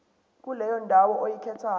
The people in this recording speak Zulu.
kuleyo ndawo oyikhethayo